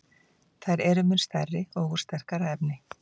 Þær eru mun stærri og úr sterkara efni.